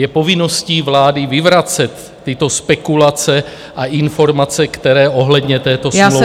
Je povinností vlády vyvracet tyto spekulace a informace, které ohledně této smlouvy vznikly.